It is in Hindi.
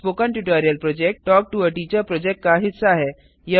spoken tutorial project talk to a teacher project का हिस्सा है